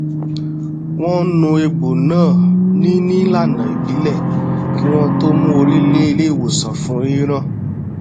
wọn nu egbò náà nin ìlànà ìbílẹ kí wọn tó mú orí lé ilé ìwòsàn fún rírán